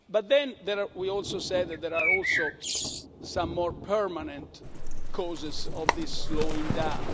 But then we also said that there are also some more permanent causes of this slowing-down.